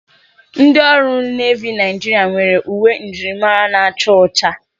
Ndị ọrụ nevi Nigeria nwere uwe njirimara na-acha ụcha.